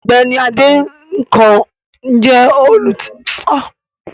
Ọ̀gbẹ́ni Adénẹ́kàn jẹ́ olùtẹ̀jáde Iléeṣẹ́ ìwé ìròyìn náà